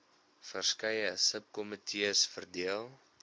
verskeie subkomitees verdeel